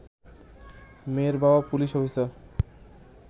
মেয়ের বাবা police officer